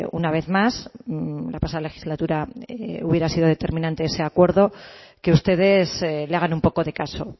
una vez más la pasada legislatura hubiera sido determinante ese acuerdo que ustedes le hagan un poco de caso